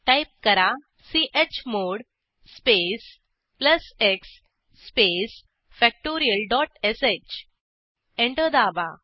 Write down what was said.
type करा chmod space plus x space factorial dot sh enter दाबा